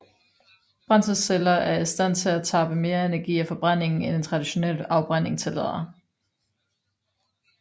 Brændselsceller er i stand til at tappe mere energi af forbrændingen end en traditionel afbrænding tillader